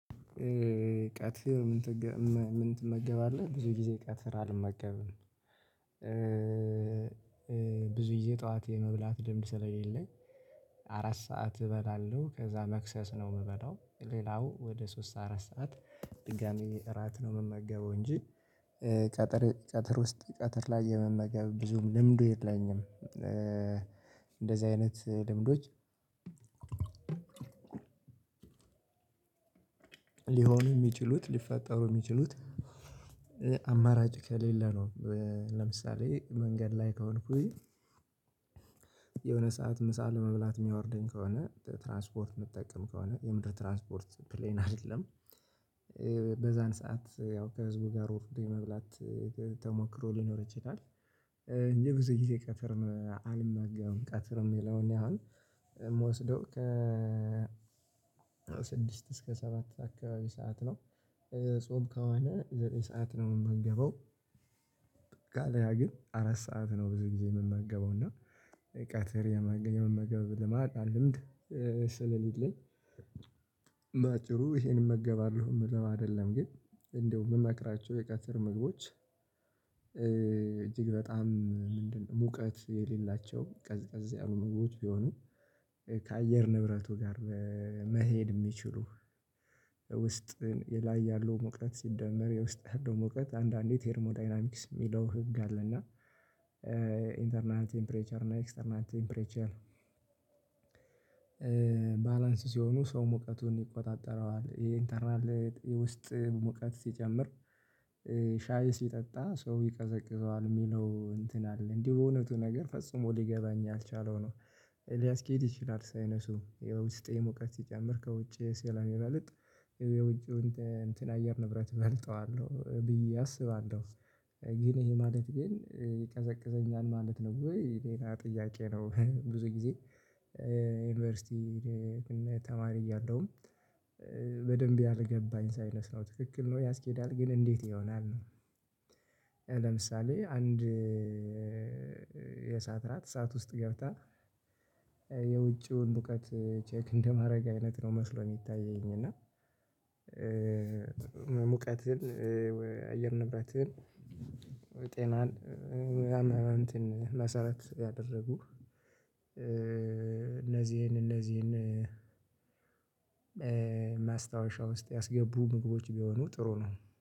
ቀትር ምን ትመገባለህ? ብዙ ጊዜ ቀትር አልመገብም። ብዙ ጊዜ ጠዋት የመብላት ልምድ ስለሌለኝ። አራት ሰዓት እበላለሁ ከዛ መክሰስ ነው የምበላው ሌላው ወደ ሶስት አራት ሰዓት ድጋሚ እራት ነው የምመገበው እንጂ። ቀትር ዉስጥ ቀትር ላይ የመመገብ ብዙም ልምዱ የለኝም እንደዚህ አይነት ልምዶች። ሊሆኑ የሚችሉት ሊፈጠሩ የሚችሉት አማራጭ ከሌለ ነው። ለምሳሌ መንገድ ላይ ከሆንኩኝ። የሆነ ሰዓት ምሳ ለመብላት የሚያወርደኝ ከሆነ ትራንስፖርት የምጠቀም ከሆነ የምድር ትራንስፖርት ፕሌን አይደለም። በዚያን ሰዓት ያው ከህዝቡ ጋር ወርዶ የመብላት ተሞክሮ ሊኖር ይችላል። የጉዞ ጊዜ ቀትር አልመገብም ቀትር የሚለውን እኔ አሁን ምወስደው ስድስት እስከ ሰባት አካባቢ ሰዓት ነው። ጾም ከሆነ ዘጠኝ ሰዓት ነው ምመገበው። አለበለዚያ ግን አራት ሰዓት ነው ብዙ ጊዜ የምመገበው እና ቀትር የምመገበው ልምድ ስለሌለኝ። በአጭሩ ይሄን እመገባለሁ ምለው አይደለም ግን እንደው ምመክራችሁ የቀትር ምግቦች። እጅግ በጣም ምንድነው ሙቀት የሌላቸው ቀዝቀዝ ያሉ ምግቦች ቢሆኑ። ከአየር ንብረቱ ጋር መሄድ የሚችሉ ውስጥ ላይ ያለው ሙቀት ሲደመር የውስጥ ያለው ሙቀት አንዳንዴ ቴርሞዳይናሚክስ የሚለው ህግ አለ። እና ኢንተርናል ቴምፕሬቸር እና ኤክስተርናል ቴምፕሬቸር። ባላንስ ሲሆኑ ሰው ሙቀቱን ይቆጣጠረዋል ይሄ ኢንተርናል የውስጥ ሙቀት ሲጨምር። ሻይ ሲጠጣ ሰው ይቀዘቅዘዋል የሚለው እንትን አለ እንዲሁ እውነቱ ነገር ፈጽሞ ሊገባኝ ያልቻለው ነው። ሊያስኬድ ይችላል ሳይነሱ የውስጤ ሙቀት ሲጨምር ከውጪ ስለሚበልጥ የውጪው እንትን አየር ንብረት እበልጠዋለሁ ብዬ አስባለሁ። ግን ይሄ ማለት ግን ይቀዘቅዘኛል ማለት ነው ወይ? ሌላ ጥያቄ ነው? ብዙ ጊዜ ዩኒቨርሲቲ ተማሪ እያለሁ በደንብ ያልገባኝ ሳይነስ ነው ትክክል ነው ያስኬዳል ግን እንዴት ይሆናል ነው። ለምሳሌ አንድ የእሳት ራት እሳት ውስጥ ገብታ ሙቀት ቼክ እንደማድረግ አይነት ነው መስሎ የሚታየኝ እና። ሙቀትን ወይ አየር ንብረትን ጤናን ሙያን መሰራት ያደረጉ እነዚህን እነዚህን ማስታወሻ ውስጥ ያስገቡ ምግቦች ቢሆኑ ጥሩ ነው